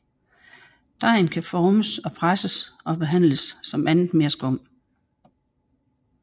Dejen kan formes og presses og behandles som andet merskum